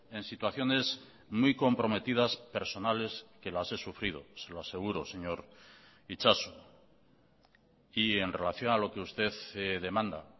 en situaciones muy comprometidas personales que las he sufrido se lo aseguro señor itxaso y en relación a lo que usted demanda